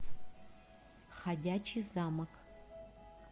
ходячий замок